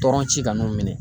Tɔrɔn ci ka n'u minɛ.